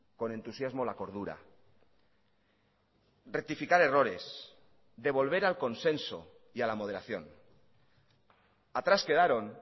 con entusiasmo la cordura rectificar errores de volver al consenso y a la moderación atrás quedaron